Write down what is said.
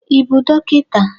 Ị bụ dọkịta?